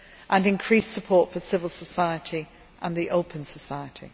and increased support for civil society and the open society.